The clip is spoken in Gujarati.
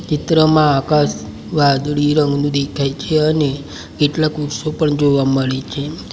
ચિત્રમાં આકાશ વાદળી રંગનું દેખાય છે અને કેટલાક વૃક્ષો પણ જોવા મળે છે.